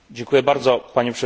Panie Przewodniczący!